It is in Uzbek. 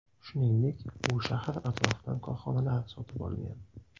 Shuningdek u shahar atrofidan korxonalar sotib olgan.